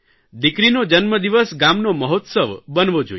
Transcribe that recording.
દીકરીનો જન્મદિવસ ગામનો મહોત્સવ બનવો જોઇએ